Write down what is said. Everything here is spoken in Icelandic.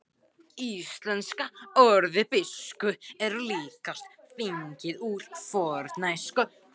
Íslenska orðið biskup er líklegast fengið úr fornensku.